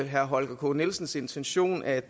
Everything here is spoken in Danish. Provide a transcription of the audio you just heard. herre holger k nielsens intention at